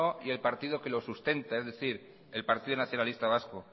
y el partido que lo sustenta es decir el partido nacionalista vasco